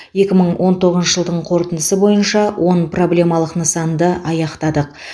екі мың он тоғызыншы жылдың қорытындысы бойынша он проблемалық нысанды аяқтадық